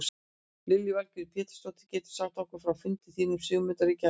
Lillý Valgerður Pétursdóttir: Getur þú sagt okkur frá fundi þínum og Sigmundar í gær?